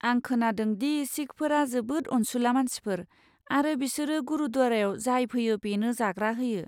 आं खोनादों दि सिखफोरा जोबोद अनसुला मानसिफोर, आरो बिसोरो गुरुद्वारायाव जाय फैयो बेनो जाग्रा होयो।